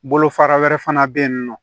Bolo fara wɛrɛ fana bɛ yen nɔ